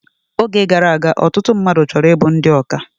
Oge gara aga, ọtụtụ mmadụ chọrọ ịbụ ndị ọkà